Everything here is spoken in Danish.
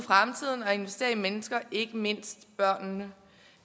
fremtiden og investering i mennesker ikke mindst børnene